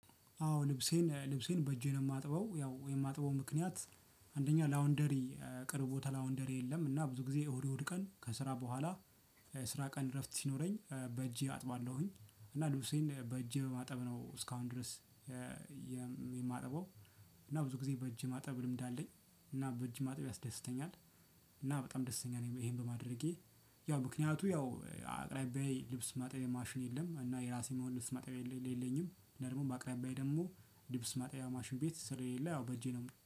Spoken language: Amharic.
አዎ ልብሴን ልብሴን በእጄ ነው የማጥበው ያው የማጥበው ምክንያት አንደኛ ላውንደሪ ቅርብ ቦታ ላውንደሪ የለም እና ብዙ ጊዜ እሁድ እሁድ ቀን ከስራ በኋላ ስራ ቀን እረፍት ሲኖረኝ በእጄ አጥባለሁኝ እና ልብሴን በእጄ በማጠብ ነው እስካሁን ድረስ የማጠበው። እና ብዙ ጊዜ በእጄ ማጠብ ልምድ አለኝ እና በእጅ ማጠብ ያስደስተኛል። እና በጣም ደስተኛ ነኝ ይሄን በማድረጌ። ያው ምክንያቱ ያው አቅራቢያየ ልብስ ማጣያ ማሽን የለም እና የራሴ የሚሆን ልብስ ማጣያ የለኝም። እና ደግሞ በአቅራቢያየ ደግሞ ልብስ ማጠቢያ ማሽን ቤት ስለሌለ ያው በእጄ ነው